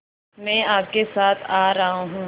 मैं आपके साथ आ रहा हूँ